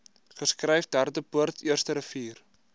geskryf derdepoort eersterivier